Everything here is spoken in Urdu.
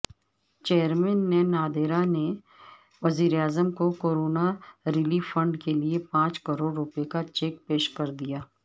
چیئرمین نادرا نے وزیراعظم کوکورونا ریلیف فنڈ کیلئےپانچ کروڑ روپے کا چیک پیش کردیا